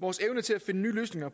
vores evne til at finde nye løsninger